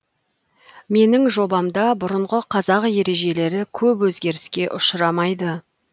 менің жобамда бұрынғы қазақ ережелері көп өзгеріске ұшырамайды